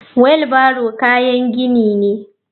Wheeo barrow kayan gini ne.